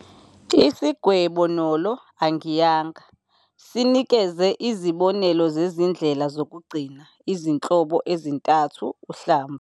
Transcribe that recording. Isigwebo "N O Lo", Angiyanga, sinikeze izibonelo zezindlela zokugcina izinhlobo ezintathu uhlamvu.